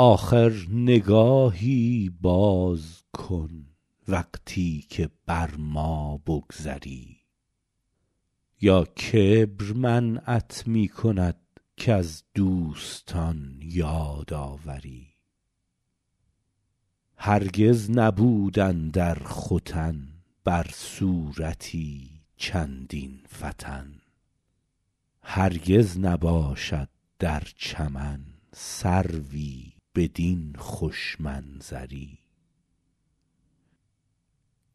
آخر نگاهی باز کن وقتی که بر ما بگذری یا کبر منعت می کند کز دوستان یاد آوری هرگز نبود اندر ختن بر صورتی چندین فتن هرگز نباشد در چمن سروی بدین خوش منظری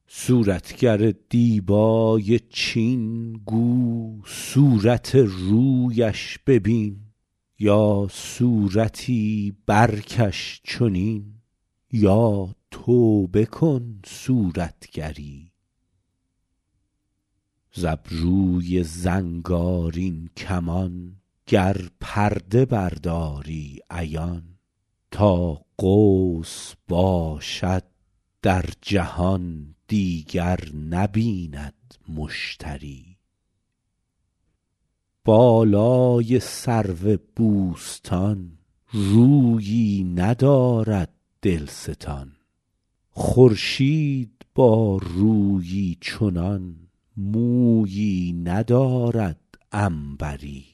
صورتگر دیبای چین گو صورت رویش ببین یا صورتی برکش چنین یا توبه کن صورتگری ز ابروی زنگارین کمان گر پرده برداری عیان تا قوس باشد در جهان دیگر نبیند مشتری بالای سرو بوستان رویی ندارد دلستان خورشید با رویی چنان مویی ندارد عنبری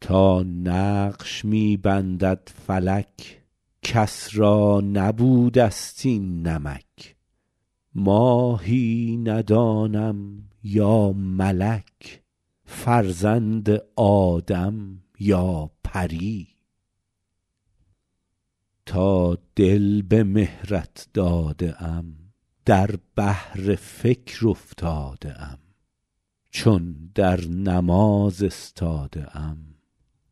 تا نقش می بندد فلک کس را نبوده ست این نمک ماهی ندانم یا ملک فرزند آدم یا پری تا دل به مهرت داده ام در بحر فکر افتاده ام چون در نماز استاده ام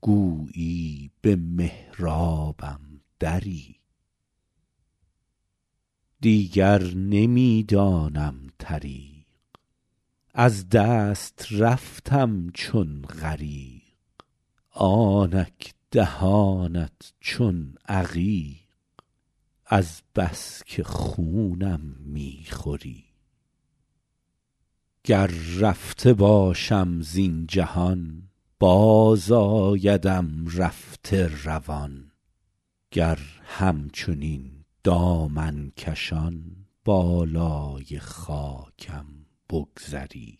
گویی به محرابم دری دیگر نمی دانم طریق از دست رفتم چون غریق آنک دهانت چون عقیق از بس که خونم می خوری گر رفته باشم زین جهان بازآیدم رفته روان گر همچنین دامن کشان بالای خاکم بگذری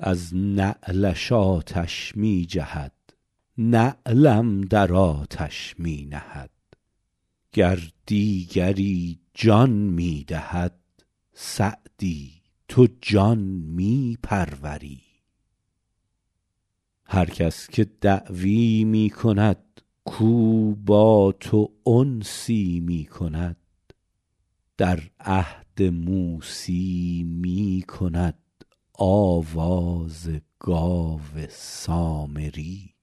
از نعلش آتش می جهد نعلم در آتش می نهد گر دیگری جان می دهد سعدی تو جان می پروری هر کس که دعوی می کند کاو با تو انسی می کند در عهد موسی می کند آواز گاو سامری